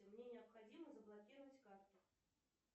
мне необходимо заблокировать карту